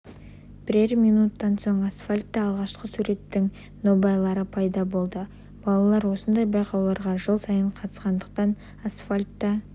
бірер минуттан соң асфальтта алғашқы суреттің нобайлары пайда болды балалар осындай байқауларға жыл сайын қатысқандықтан асфальтта